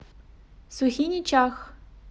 сухиничах